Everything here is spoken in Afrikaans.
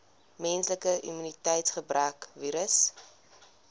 menslike immuniteitsgebrekvirus